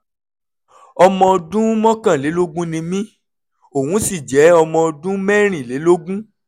ọmọ ọdún mọ́kànlélógún ni mí òun sì jẹ́ ọmọ ọdún mẹ́rìnlélógún